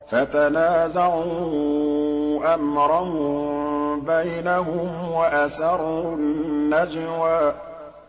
فَتَنَازَعُوا أَمْرَهُم بَيْنَهُمْ وَأَسَرُّوا النَّجْوَىٰ